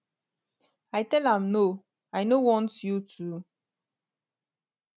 i tell am no i no want you to